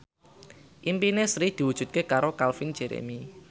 impine Sri diwujudke karo Calvin Jeremy